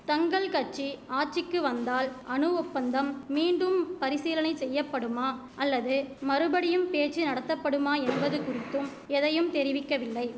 தங்கள் கட்சி ஆட்சிக்கு வந்தால் அணு ஒப்பந்தம் மீண்டும் பரிசீலனை செய்யப்படுமா அல்லது மறுபடியும் பேச்சு நடத்தப்படுமா என்பது குறித்தும் எதையும் தெரிவிக்கவில்லை